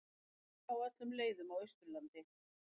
Hálka á öllum leiðum á Austurlandi